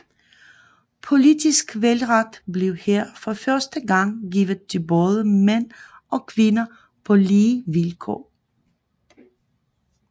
Politisk valgret blev her for første gang givet til både mænd og kvinder på lige vilkår